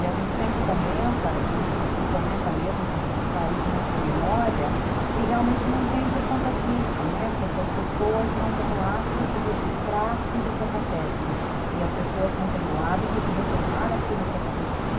E a gente sempre comenta e e e comenta mesmo que esse país não tem memória e realmente não tem por conta disso, né, porque as pessoas não têm o hábito de registrar tudo o que acontece e as pessoas não têm o hábito de retomar aquilo que aconteceu.